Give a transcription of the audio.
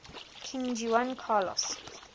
king juan carlos